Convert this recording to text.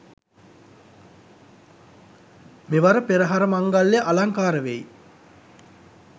මෙවර පෙරහර මංගල්‍යය අලංකාර වෙයි.